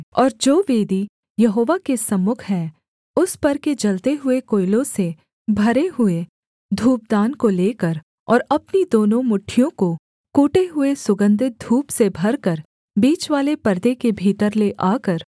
और जो वेदी यहोवा के सम्मुख है उस पर के जलते हुए कोयलों से भरे हुए धूपदान को लेकर और अपनी दोनों मुट्ठियों को कूटे हुए सुगन्धित धूप से भरकर बीचवाले पर्दे के भीतर ले आकर